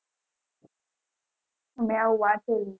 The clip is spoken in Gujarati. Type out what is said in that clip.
મેં આવું વાંચેલું